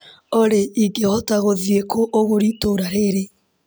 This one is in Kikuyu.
Olĩ ingĩhota gũthiĩ kũ ũgũri itũra rĩrĩ ?